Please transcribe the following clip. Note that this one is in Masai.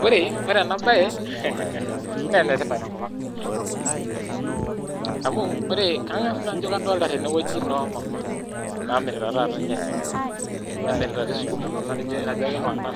Ore enabae na enetipat tenkopang amu kangas naa ajobkafolta tenewueji nomama namirita sikuma nemirita irnyanya